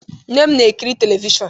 Nne m na-ekiri telivishọn.